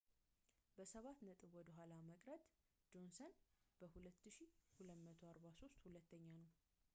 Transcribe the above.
በሰባት ነጥቦች ወደ ኋላ በመቅረት ጆንሰን በ2,243 ሁለተኛ ነው